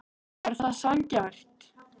Er það sanngjarnt?